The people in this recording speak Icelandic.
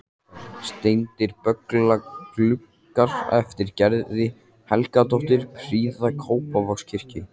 Steindir bogagluggar eftir Gerði Helgadóttur prýða Kópavogskirkju.